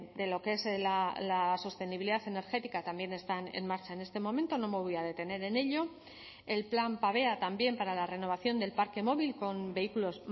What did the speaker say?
de lo que es la sostenibilidad energética también están en marcha en este momento no me voy a detener en ello el plan pavea también para la renovación del parque móvil con vehículos